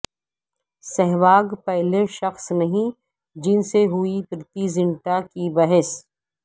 سہواگ پہلے شخص نہیں جن سے ہوئی پریتی زنٹا کی بحث